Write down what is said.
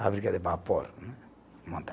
Fábrica de vapor, né